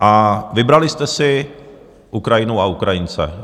A vybrali jste si Ukrajinu a Ukrajince.